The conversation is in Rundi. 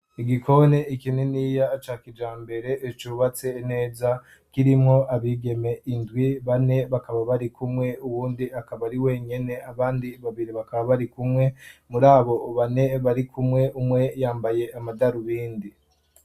Igikoni ikininiya ca kijambere, cubatse neza, kirimo abigeme indwi bane bakaba bari kumwe, uwundi akaba ari wenyene ,abandi babiri bakaba bari kumwe ,muri abo bane bari kumwe umwe yambaye amadarubindi.